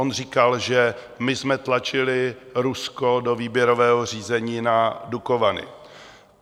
On říkal, že my jsme tlačili Rusko do výběrového řízení na Dukovany.